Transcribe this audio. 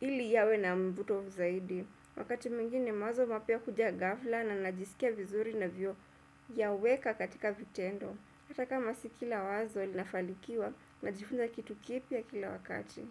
ili yawe na mvuto zaidi, wakati mwingine mawazo mapya huja ghafla na najisikia vizuri ninavyoyaweka katika vitendo, hatakama si kila wazo linafanikiwa najifunza kitu kipya kila wakati.